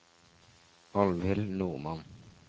Alvhild Normann